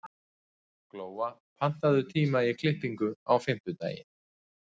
Glóa, pantaðu tíma í klippingu á fimmtudaginn.